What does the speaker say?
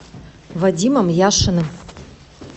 вадимом яшиным